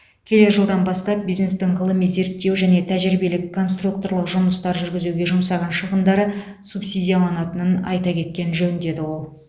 келер жылдан бастап бизнестің ғылыми зерттеу және тәжірибелік конструкторлық жұмыстар жүргізуге жұмсаған шығындары субсидияланатынын айта кеткен жөн деді ол